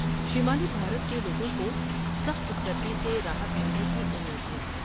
شمالی بھارت کے لوگوں کو سخت سردی سے راحت ملنے کی امید ہے۔